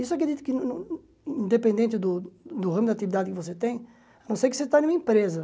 Isso acredito que, independente do do ramo de atividade que você tem, a não ser que você está em uma empresa.